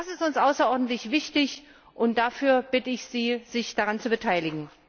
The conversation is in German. Das ist uns außerordentlich wichtig, und ich bitte Sie, sich daran zu beteiligen.